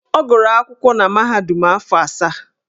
Ọ gụrụ akwụkwọ na mahadum afọ asaa.